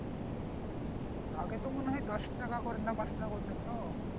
আগে তো মনে হয় দশ টাকা করে না পাঁচ টাকা করে নিত